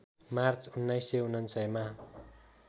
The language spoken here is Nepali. मार्च १९९९मा